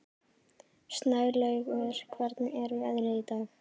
Snælaugur, hvernig er veðrið í dag?